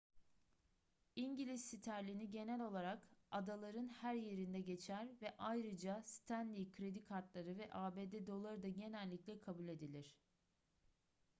i̇ngiliz sterlini genel olarak adaların her yerinde geçer ve ayrıca stanley kredi kartları ve abd doları da genellikle kabul edilir